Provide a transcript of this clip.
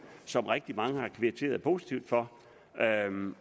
som rigtig mange har kvitteret positivt for